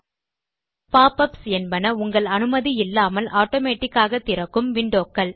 pop ups என்பன உங்கள் அனுமதி இல்லாமல் ஆட்டோமேட்டிக் ஆக திறக்கும் விண்டோ க்கள்